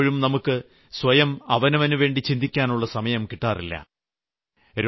അതിനാൽ പലപ്പോഴും നമുക്ക് സ്വയം അവനവനുവേണ്ടി ചിന്തിക്കാനുള്ള സമയം കിട്ടാറില്ല